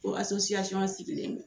O sigilen don.